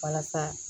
Walasa